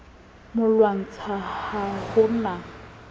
mo lwantsha ha ho na